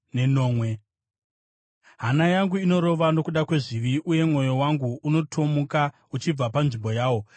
“Hana yangu inorova nokuda kwezvizvi, uye mwoyo wangu unotomuka uchibva panzvimbo yawo.